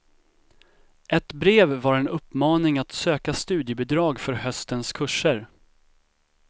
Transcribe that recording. Ett brev var en uppmaning att söka studiebidrag för höstens kurser.